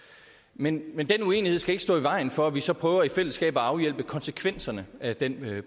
men men den uenighed skal ikke stå i vejen for at vi så prøver i fællesskab at afhjælpe konsekvenserne af den